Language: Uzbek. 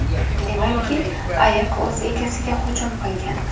Demakki, ayiq o‘z egasiga hujum qilgan.